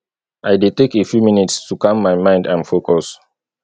i dey take a few minutes to calm my mind and focus